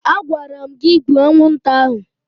Agwara m gị gbuo anwụnta ahụ!